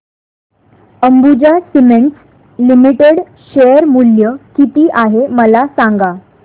Ambuja cements limited share मूल्य किती आहे मला सांगा